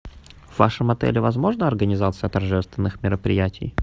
в вашем отеле возможна организация торжественных мероприятий